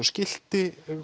skilti